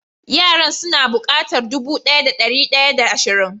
Yaran su na bukatar dubu daya da dari daya da asrin.